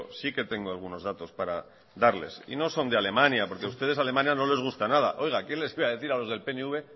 sí que tengo algunos datos para darles y no son de alemania porque a ustedes alemania no les gusta nada oiga quién les iba a decir a los del pnv